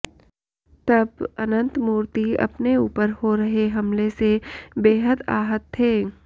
तब अनंतमूर्ति अपने ऊपर हो रहे हमले से बेहद आहत थे